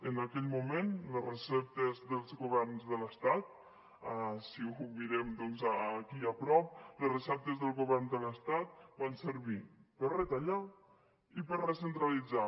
en aquell moment les receptes dels governs de l’estat si ho mirem doncs aquí a prop les receptes del govern de l’estat van servir per a retallar i per a recentralitzar